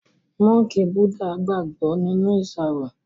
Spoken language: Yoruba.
Mọ́ńkì Búdà gbàgbó nínú iṣaro